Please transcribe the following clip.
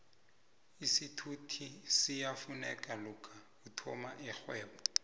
isithuthi siyafuneka lokha uthoma irhwebo